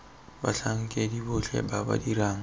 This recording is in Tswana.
batlhankedi botlhe ba ba dirang